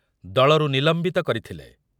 ଦଳରୁ ନିଲମ୍ବିତ କରିଥିଲେ ।